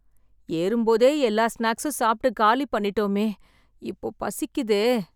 ஏறும்போதே எல்லா ஸ்நாக்ஸும் சாப்ட்டு, காலி பண்ணிட்டோமே... இப்போ பசிக்குதே..